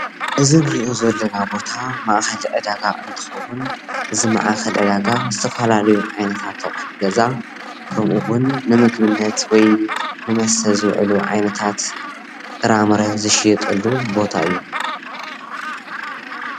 እዚ እንሪኦ ዘለና ቦታ ማእከል ዕዳጋ እንትከውን እዚ ማእከል ዕዳጋ ዝተፈላለዩ ዓይነታት ኣቁሑ ገዛ ከምኡውን ንምግብነት ወይ ንመስተ ዝውዕል ዓይነታት ጥራምረ ዝሽየጠሉ ቦታ እዩ፡፡